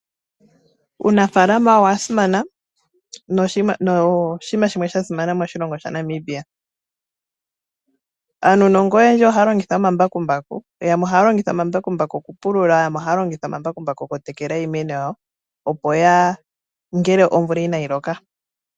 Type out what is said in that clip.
Uunafaalama owasimana no oshinima shimwe sha simana moshilongo sha Namibia. Aanongononi oyendji ohaya longitha omambakumbaku , yamwe ohaya longitha omambakumbaku okupulula yamwe ohaya longitha omambakumbaku oku tekela iimena yawo ngele omvula onayi loka.